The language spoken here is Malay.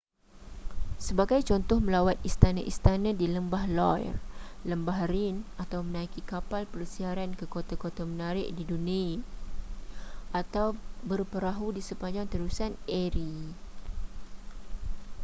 sebagai contoh melawat istana-istana di lembah loire lembah rhine atau menaiki kapal persiaran ke kota-kota menarik di danube atau berperahu di sepanjang terusan erie